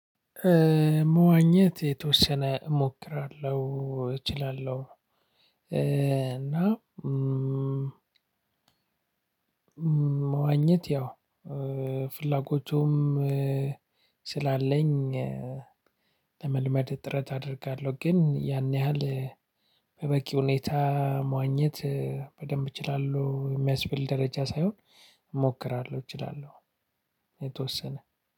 መዋኘት የተወሰነ እሞክራለሁ እችላለሁ። እና መዋኘት ያው ፍላጎቱም ስላለኝ ለመልመድ ጥረት አደርጋለሁ። ግን ያን ያህል በበቂ ሁኔታ መዋኘት በደንብ እችላለሁ የሚያስብል ደረጃ ሳይሆን እሞክራለሁ እችላለሁ። የተወሰነ